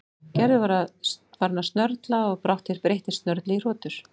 Gerður var farin að snörla og brátt breyttist snörlið í hrotur.